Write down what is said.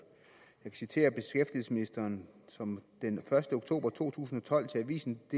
jeg kan citere beskæftigelsesministeren som den første oktober to tusind og tolv til avisendk